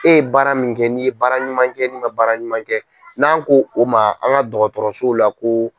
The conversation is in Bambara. E ye baara min kɛ n'i ye baara ɲuman kɛ n'i ma baara ɲuman kɛ n'an ko o ma an ka dɔgɔtɔrɔsow la ko.